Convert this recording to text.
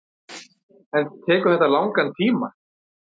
En tekur þetta langan tíma.